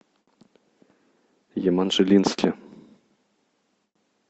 еманжелинске